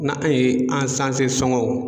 Na an ye an sanfɛ sɔngɔw.